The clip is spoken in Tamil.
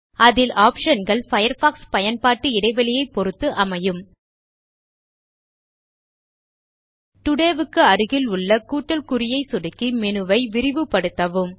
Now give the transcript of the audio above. அதில் ஆப்ஷன் கள் பயர்ஃபாக்ஸ் பயன்பாட்டு இடைவெளியை பொருத்து அமையும் டோடே க்கு அருகிலுள்ள கூட்டல் குறியை சொடுக்கி மேனு வை விரிவுபடுத்தவும்